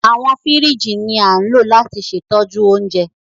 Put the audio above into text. Awọn fírìjí ni a ńlo lati se itoju ounje